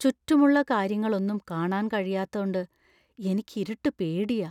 ചുറ്റുമുള്ള കാര്യങ്ങളൊന്നും കാണാൻ കഴിയാത്തോണ്ട് എനിക്ക് ഇരുട്ടു പേടിയാ .